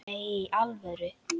Nei, í alvöru